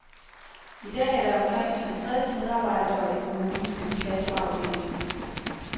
I dag er der omkring halvtreds medarbejdere i kommunens inkassoafdeling.